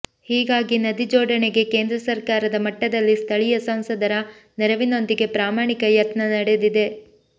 ಹೀಗಾಗಿ ನದಿ ಜೋಡಣೆಗೆ ಕೇಂದ್ರ ಸರ್ಕಾರದ ಮಟ್ಟದಲ್ಲಿ ಸ್ಥಳೀಯ ಸಂಸದರ ನೆರವಿನೊಂದಿಗೆ ಪ್ರಾಮಾಣಿಕ ಯತ್ನ ನಡೆದಿದೆ